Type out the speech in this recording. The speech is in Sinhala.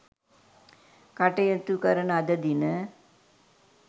කටයුතු කරන අද දින